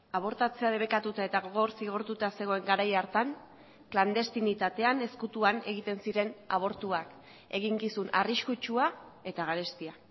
abortatzea debekatuta eta gogor zigortuta zegoen garai hartan klandestinitatean ezkutuan egiten ziren abortuak eginkizun arriskutsua eta garestia